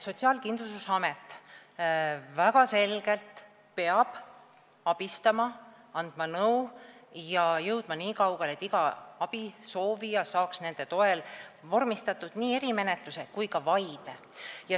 Sotsiaalkindlustusamet peab abistama, andma nõu ja jõudma nii kaugele, et iga abisoovija saaks nende toel vormistatud nii erimenetluse kui ka vaide.